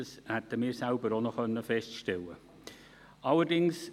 das hätten wir selber auch noch feststellen können.